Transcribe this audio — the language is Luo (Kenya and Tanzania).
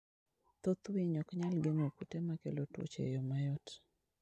Thoth winy ok nyal geng'o kute makelo tuoche e yo mayot.